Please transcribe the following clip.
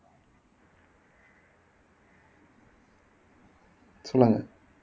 சொல்லுங்க